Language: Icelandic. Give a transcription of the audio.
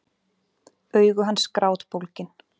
Augu hans grátbólgin.